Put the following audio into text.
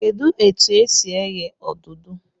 Kedụ etu e si eghe odudu?